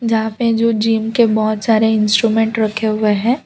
जहां पे जो जिम के बहुत सारे इंस्ट्रूमेंट रखे हुए हैं।